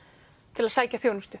til að sækja þjónustu